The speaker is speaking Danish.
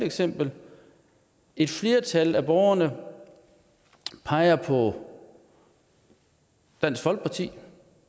eksempel et flertal af borgerne peger på dansk folkeparti